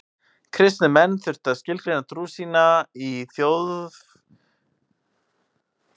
Kristnir menn þurftu að skilgreina trú sína í því fjölþjóðlega umhverfi sem rómverska ríkið var.